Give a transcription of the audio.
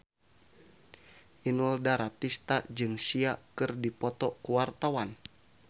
Inul Daratista jeung Sia keur dipoto ku wartawan